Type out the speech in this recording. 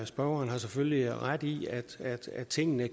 spørgeren har selvfølgelig ret i at tingene